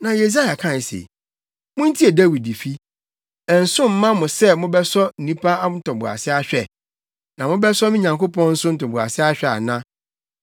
Na Yesaia kae se, “Muntie Dawidfi! Ɛnso mma mo sɛ mobɛsɔ nnipa ntoboase ahwɛ? Na mobɛsɔ me Nyankopɔn nso ntoboase ahwɛ ana?